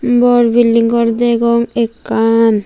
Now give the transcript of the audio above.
bor building gor degong ekkan.